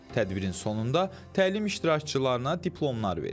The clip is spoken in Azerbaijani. Tədbirin sonunda təlim iştirakçılarına diplomlar verilib.